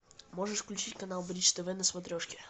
можешь включить канал бридж тв на смотрешке